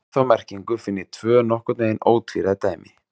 Um þá merkingu finn ég tvö nokkurn veginn ótvíræð dæmi.